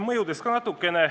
Mõjudest ka natukene.